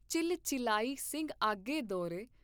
Chill ਚਿਲਾਇ ਸਿੰਘ ਆਗੇ ਦੌਰੇਂ।